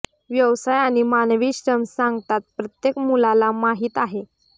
व्यवसाय आणि मानवी श्रम सांगतात प्रत्येक मुलाला माहित आहे